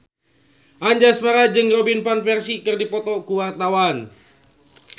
Anjasmara jeung Robin Van Persie keur dipoto ku wartawan